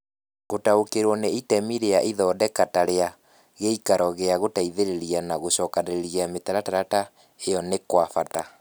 Gũtaũkĩrũo nĩ itemi rĩa ithondeka ta rĩa gĩikaro gĩa gũteithĩrĩria na gũcokanĩrĩria mĩtaratara ta ĩyo nĩ kwa bata.